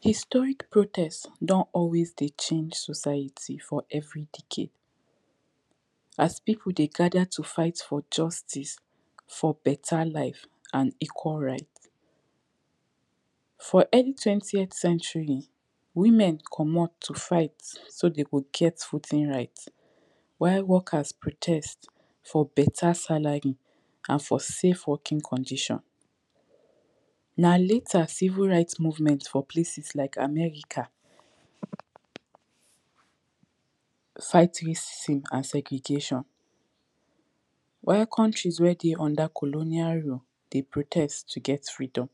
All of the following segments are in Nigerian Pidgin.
Historic protest don always dey change society for every decade as people dey gather to fight for justice for beta live and equal rights for early twenty Forth century women comot to fight so dey go get voting right while workers protest for beta salary and for safe working conditions nah later civil right movement for places like America fighting and segregation while country wey dey under colonial run dey protest to get freedom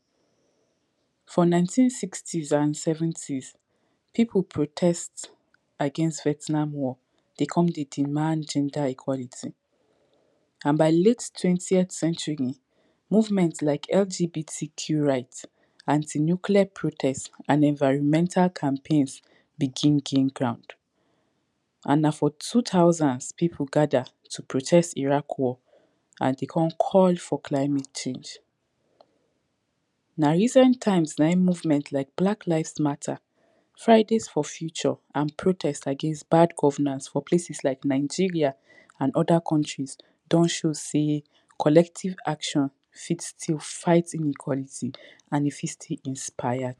for nineteen sixties and seventies people protest again vertinal war dey con dey demand gender equality and by late twentieth century movement like LGBTQ rights anti nuclear protest and environmental campaigns begin gain ground and nah for two thousand people gather to protest Iraq war and dey con call for climate change nah recent times nah hin movement like black lives matter fighting for future and protest against bad governance for places like Nigeria and other countries don show say collective actions fit still fight inequality and fit still inspire